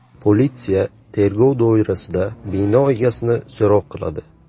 Politsiya tergov doirasida bino egasini so‘roq qiladi.